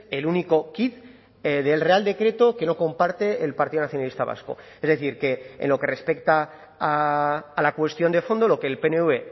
el único quid del real decreto que no comparte el partido nacionalista vasco es decir que en lo que respecta a la cuestión de fondo lo que el pnv